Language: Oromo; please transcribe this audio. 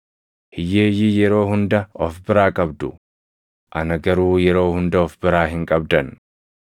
Hiyyeeyyii yeroo hunda of biraa qabdu; ana garuu yeroo hunda of biraa hin qabdan.